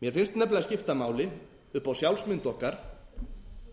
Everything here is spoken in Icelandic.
mér finnst nefnilega skipta máli upp á sjálfsmynd okkar